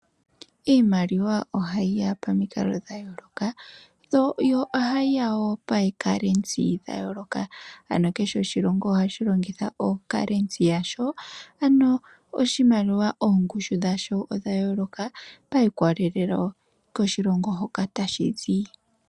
Iimaliwa ohayi ya pomikalo dhayooloka, yo ohayi yawo pandondo yayooloka, ano kehe oshilongo ohadhi longitha oondando dhawo ano oshimaliwa oongushu yadho odha yooloka sha ikwatelela koshilongo hoka tashi zi.